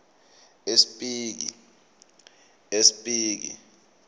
espiki